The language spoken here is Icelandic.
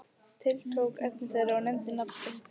Tiltók efni þeirra og nefndi nafn þitt.